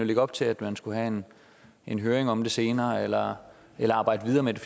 lægge op til at man skulle have en høring om det senere eller eller arbejde videre med det